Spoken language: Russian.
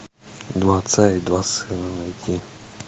два отца и два сына найти